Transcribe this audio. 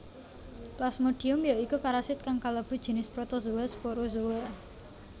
Plasmodium ya iku parasit kang kalebu jinis protozoa sporozoa